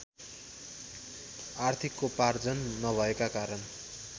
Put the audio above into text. आर्थिकोपार्जन नभएका कारण